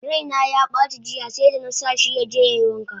Raina yabaci jiya seda! nasa shi yaje yai wanka!